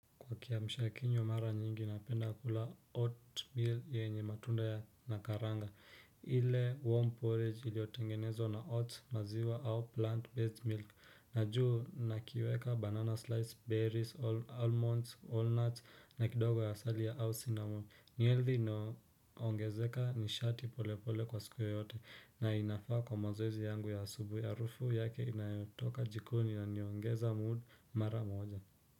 Kwa kiamshakinywa mara nyingi, napenda kula oatmeal yenye matunda na karanga. Ile warm porridge iliyotengenezwa na oats, maziwa au plant-based milk. Na juu nakiweka banana slice, berries, almonds, walnuts, na kidogo asali ya au cinnamon. Nieldhi inayongezeka nishati pole pole kwa siku yeyote na inafaa kwa mazoezi yangu ya asubuhi, harufu yake inayotoka jikoni yaniongeza mood mara moja.